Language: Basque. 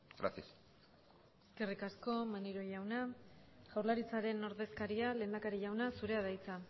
gracias eskerrik asko maneiro jauna jaurlaritzaren ordezkaria lehendakari jauna zurea da hitza